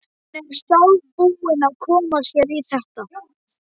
Hún er sjálf búin að koma sér í þetta.